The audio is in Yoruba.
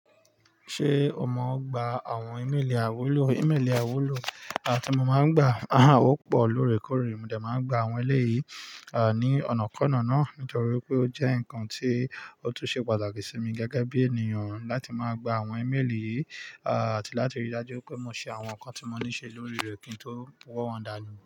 Ṣé o mọ gba àwọn ímélì àiwúlò? Ímeélì àiwúlò tí mo máa ń gbà, a há ò pọ̀ lóòrèkóòrè, mo de máa ń gba àwọn ẹlẹ́yìí, ní ọ̀nàkọ́na náà nítorí pé ó jẹ́ nǹkan tí ó tún ṣe pàtàkì sí mi gẹ́gẹ́ bí ènìyàn láti máa gba àwọn ímélì yìí, à tí láti rí i dájú pé mo ṣe àwọn nǹkan tí mo ní ṣe lórí rẹ̀ kí n tó wọ̀ wọ́n dànù.